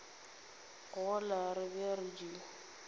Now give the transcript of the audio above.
gola re be re di